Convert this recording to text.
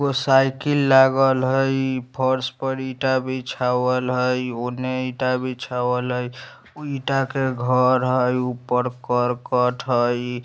वो साइकिल लागल हई फर्स पर ईटा बीछवाल हई ओने ईटा बीछवाल हई उ ईटा के घर हई ऊपर करकट हई ।